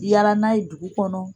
Yala n'a ye dugu kɔnɔ